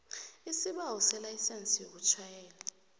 isibawo selayisense yokutjhayela